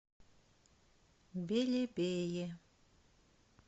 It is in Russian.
белебее